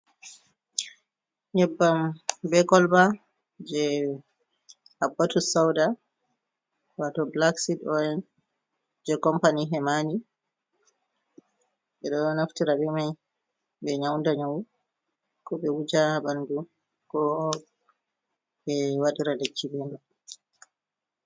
Nyebbam be kolba je habbatu souda wato blacksid oil je company hemani 2 ɓe ɗo naftira be mai ɓe nyauda nyawu, ko ɓe wuja ha ɓandu ko ɓe waɗira lekki be be mai.